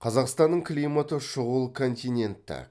қазақстанның климаты шұғыл континентті